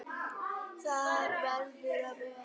Það verður að vera.